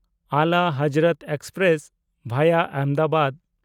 ᱟᱞᱟ Hazrat express (ᱵᱷᱟᱭᱟ ᱟᱦᱚᱢᱫᱟᱵᱟᱫ)